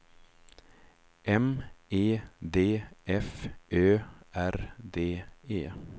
M E D F Ö R D E